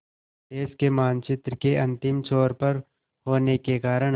देश के मानचित्र के अंतिम छोर पर होने के कारण